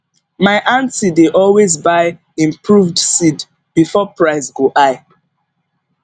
my aunty dey always buy improved seed before price go high